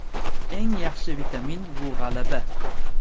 Eng yaxshi vitamin bu g‘alaba.